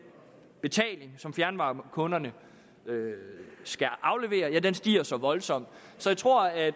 betaling som fjernvarmekunderne skal aflevere stiger så voldsomt så jeg tror at